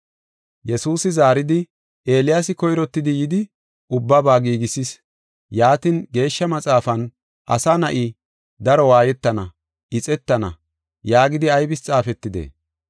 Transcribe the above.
Yesuusi zaaridi “Eeliyaasi koyrottidi yidi, ubbaba giigisees; yaatin, Geeshsha Maxaafan, ‘Asa Na7i daro waayetana; ixetana’ yaagidi aybis xaafetidee?